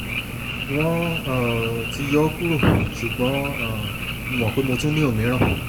wọ́n um ti yọ ọ́ kúrò ṣùgbọ́n um mo mọ̀ pé mo tún ní òmíràn